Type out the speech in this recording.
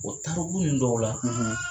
O tariku ninnu dɔw la